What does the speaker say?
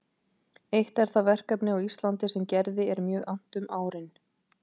Eitt er það verkefni á Íslandi sem Gerði er mjög annt um árin